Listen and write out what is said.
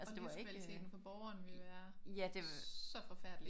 Og livskvaliteten for borgeren ville være så forfærdelig